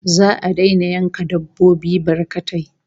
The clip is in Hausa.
Za'a daina yanka dabbobi barkatai